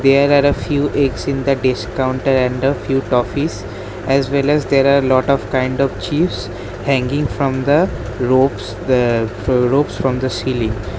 There are a few eggs in the desk counter and a few toffees as well as there are lot of kind of chips hanging from the ropes ugh ropes from the ceiling.